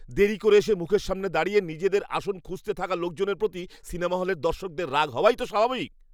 দেরি করে এসে মুখের সামনে দাঁড়িয়ে নিজেদের আসন খুঁজতে থাকা লোকজনের প্রতি সিনেমা হলের দর্শকদের রাগ হওয়াই তো স্বাভাবিক।